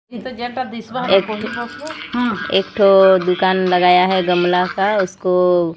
एक ठो एक ठो दुकान लगाया है गमला का उसकों--